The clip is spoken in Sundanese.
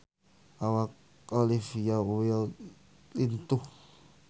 Awak Olivia Wilde lintuh